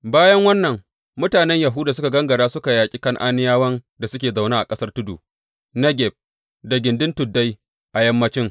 Bayan wannan, mutanen Yahuda suka gangara suka yaƙi Kan’aniyawan da suke zaune a ƙasar tudu, Negeb, da gindin tuddai a yammanci.